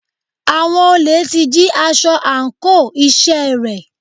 Àwọn olè ti jí aṣọ àńkò iṣẹ́ rẹ̀.